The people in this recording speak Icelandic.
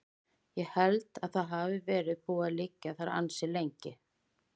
Ég held að það hafi verið búið að liggja þar ansi lengi.